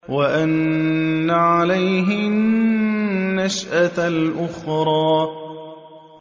وَأَنَّ عَلَيْهِ النَّشْأَةَ الْأُخْرَىٰ